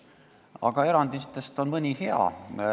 Aga erandite hulgas on ka mõni hea.